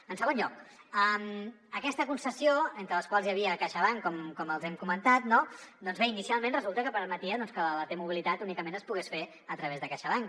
en segon lloc aquesta concessió dins de la qual hi havia caixabank com els hem comentat doncs bé inicialment resulta que permetia que la t mobilitat únicament es pogués fer a través de caixabank